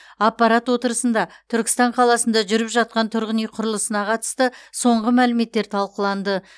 аппарат отырысында түркістан қаласында жүріп жатқан тұрғын үй құрылысына қатысты соңғы мәліметтер талқыланды